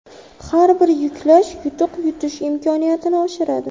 Har bir yuklash yutuq yutish imkoniyatini oshiradi.